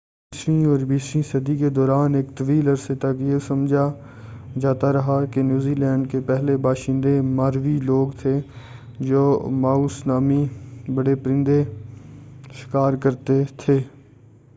انیسویں اور بیسویں صدی کے دوران ایک طویل عرصے تک یہ سمجھا جاتا رہا کہ نیوزی لینڈ کے پہلے باشندے ماوری لوگ تھے جو ماوس نامی بڑے پرندے شکار کرتے تھے